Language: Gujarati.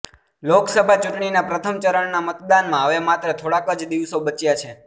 લોકસભા ચૂંટણીનાં પ્રથમ ચરણનાં મતદાનમાં હવે માત્ર થોડાંક જ દિવસો બચ્યાં છે